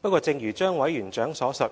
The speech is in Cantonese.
不過，正如張委員長所述："